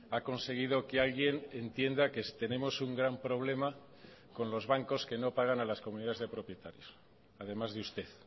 ha conseguido que alguien entienda que tenemos un gran problema con los bancos que no pagan a las comunidades de propietarios además de usted